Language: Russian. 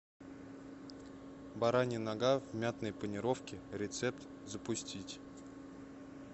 баранья нога в мятной панировке рецепт запустить